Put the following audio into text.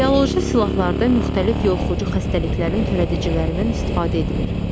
Bioloji silahlarda müxtəlif yoluxucu xəstəliklərin törədicilərindən istifadə edilir.